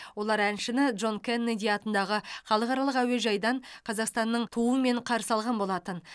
олар әншіні джон кеннеди атындағы халықаралық әуежайдан қазақстанның туымен қарсы алған болатын